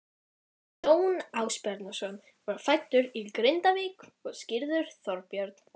Jón Ásbjarnarson var fæddur í Grindavík og skírður Þorbjörn.